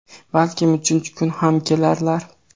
Balkim uchinchi kun ham kelarlar).